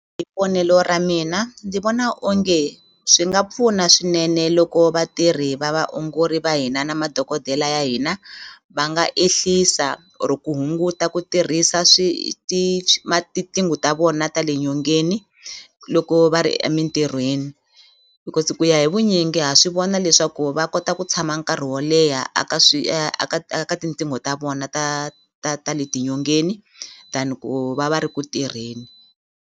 Hi vonelo ra mina ndzi vona onge swi nga pfuna swinene loko vatirhi va vaongori va hina na madokodela ya hina va nga ehlisa or ku hunguta ku tirhisa tiqingho ta vona ta le nyongeni loko va ri emintirhweni because ku ya hi vunyingi ha swi vona leswaku va kota ku tshama nkarhi wo leha a ka aka aka tinqingho ta vona ta ta ta le nyongeni than ku va va ri ku tirheni.